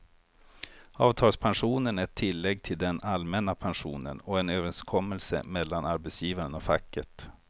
Avtalspensionen är ett tillägg till den allmänna pensionen och en överenskommelse mellan arbetsgivaren och facket.